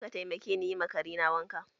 Za ka taimake ni yi ma Kare na wanka?